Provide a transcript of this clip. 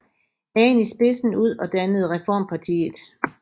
Hagen i spidsen ud og dannede Reformpartiet